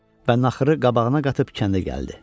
Və naxırı qabağına qatıb kəndə gəldi.